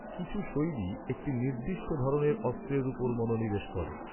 কিছু শৈলী একটি নির্দিষ্ট ধরনের অস্ত্রের উপর মনোনিবেশ করে।